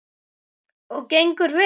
Og gengur vel.